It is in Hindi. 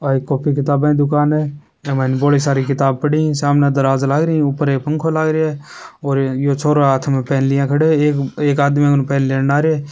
आ एक कॉपी किताबा की दुकान है ए माइन बड़ी सारी किताब पड़ी है सामने दराज लाग री है ऊपर एक पंखो लाग रेहा है और ये यो छोरो हाथ पैन लिए खड़ो है एक आदमी उधर पहन लेन आरे।